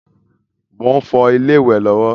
Mo ń fọ ilé ìwẹ̀ lọ́wọ́